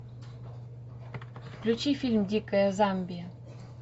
включи фильм дикая замбия